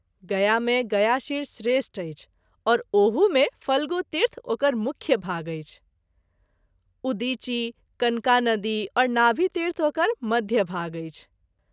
गया मे गयाशिर श्रेष्ठ अछि और ओहू मे फ्लगुतीर्थ ओकर मुख्य भाग अछि - उदिची, कनका नदी और नाभितीर्थ ओकर मध्य भाग अछि।